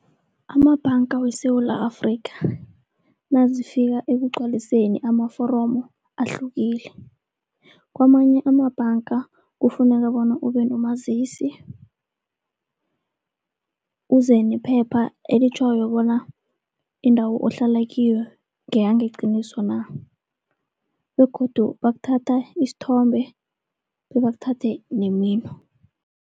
Amabhanga weSewula Afrikha, nazifika ekugcwaliseni amaforomo ahlukile. Kwamanye amabhanga kufuneka bona ube nomazisi. Uze nephepha elitjhoko bona indawo ohlala kiyo ngeyangeqiniso na, begodu bakuthatha isithombe bebakuthathe nemino.